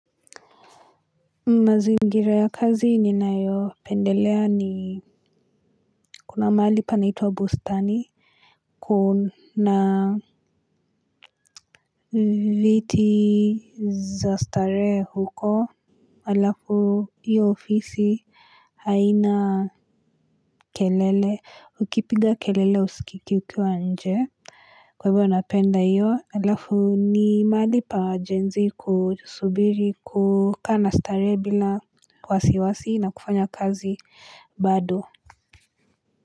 Mazingira ya kazi ninayopendelea ni kuna mahali panaitwa bustani kuna viti za starehe huko alafu hiyo ofisi haina kelele ukipiga kelele usikiki ukiwa nje kwa hivyo napenda hiyo alafu ni mahali pa jenzi kusubiri kukana starehe bila wasiwasi na kufanya kazi bado.